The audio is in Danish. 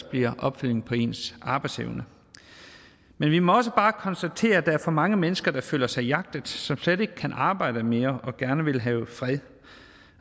bliver en opfølgning på ens arbejdsevne men vi må også bare konstatere at der er for mange mennesker der føler sig jagtet som slet ikke kan arbejde mere og gerne vil have fred